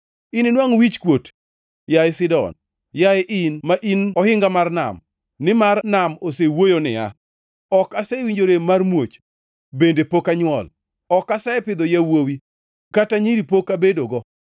Ininwangʼ wichkuot, yaye Sidon, yaye in, ma in ohinga mar nam, nimar nam osewuoyo niya, “Ok asewinjo rem mar muoch bende pok anywol, ok asepidho yawuowi kata nyiri pok abedogo.”